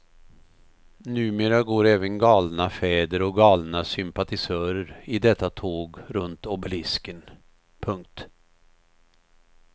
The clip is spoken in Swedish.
Numera går även galna fäder och galna sympatisörer i detta tåg runt obelisken. punkt